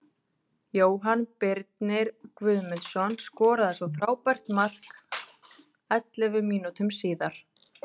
Jóhann Birnir Guðmundsson skoraði svo frábært mark ellefu mínútum síðar.